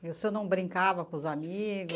E o senhor não brincava com os amigo?